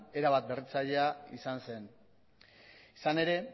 era bat berritzailea izan zen izan ere